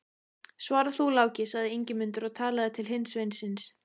Svara þú, Láki, sagði Ingimundur og talaði til hins sveinsins.